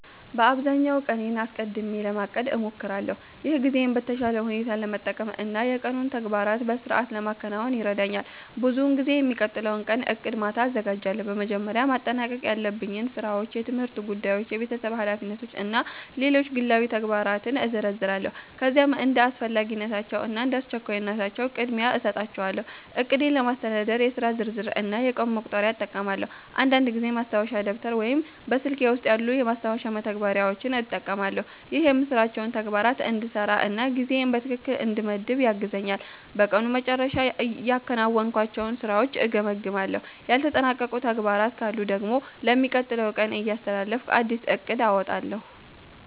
በአብዛኛው ቀኔን አስቀድሜ ለማቀድ እሞክራለሁ። ይህ ጊዜዬን በተሻለ ሁኔታ ለመጠቀም እና የቀኑን ተግባራት በሥርዓት ለማከናወን ይረዳኛል። ብዙውን ጊዜ የሚቀጥለውን ቀን ዕቅድ በማታ አዘጋጃለሁ። በመጀመሪያ ማጠናቀቅ ያለብኝን ሥራዎች፣ የትምህርት ጉዳዮች፣ የቤተሰብ ኃላፊነቶች እና ሌሎች ግላዊ ተግባራትን እዘረዝራለሁ። ከዚያም እንደ አስፈላጊነታቸው እና እንደ አስቸኳይነታቸው ቅድሚያ እሰጣቸዋለሁ። ዕቅዴን ለማስተዳደር የሥራ ዝርዝር እና የቀን መቁጠሪያ እጠቀማለሁ። አንዳንድ ጊዜ ማስታወሻ ደብተር ወይም በስልኬ ውስጥ ያሉ የማስታወሻ መተግበሪያዎችን እጠቀማለሁ። ይህ የምሠራቸውን ተግባራት እንዳልረሳ እና ጊዜዬን በትክክል እንድመድብ ያግዘኛል። በቀኑ መጨረሻ ያከናወንኳቸውን ሥራዎች እገመግማለሁ። ያልተጠናቀቁ ተግባራት ካሉ ደግሞ ለሚቀጥለው ቀን እያስተላለፍኩ አዲስ ዕቅድ አወጣለሁ።